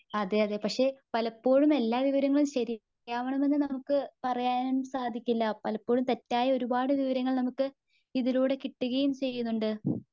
അതെ യതേ പക്ഷേ പലപ്പോഴും എല്ലാ വിവരങ്ങളും ശരിയാവണമെന്ന് പറയാൻ സാധിക്കില്ല. പലപ്പോഴും തെറ്റായ ഒരുപാട് വിവരങ്ങൾ നമുക്ക് ഇതിലൂടെ കിട്ടുകയും ചെയ്യുന്നുണ്ട്.